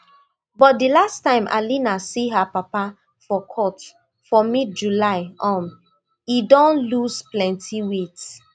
but di last time alina see her papa for court for midjuly um e don loose plenti weight